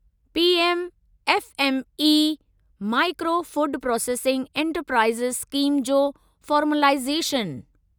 PM FME micro food processing enterprises scheme जो formalisation